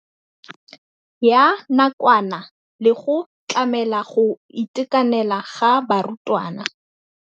Ya nakwana le go tlamela go itekanela ga barutwana.